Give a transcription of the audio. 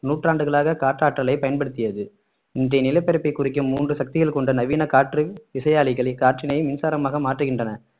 நூற்றாண்டுகளாக காற்றாற்றலை பயன்படுத்தியது இன்றைய நிலப்பரப்பை குறிக்கும் மூன்று சக்திகள் கொண்ட நவீன காற்று விசையாழிகளை காற்றினை மின்சாரமாக மாற்றுகின்றன